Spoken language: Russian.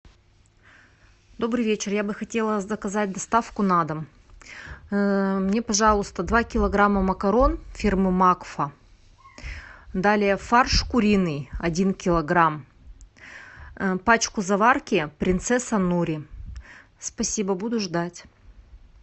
добрый вечер я бы хотела заказать доставку на дом мне пожалуйста два килограмма макарон фирмы макфа далее фарш куриный один килограмм пачку заварки принцесса нури спасибо буду ждать